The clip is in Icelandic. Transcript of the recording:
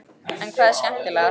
En hvað er skemmtilegast?